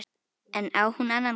En á hún annan kost?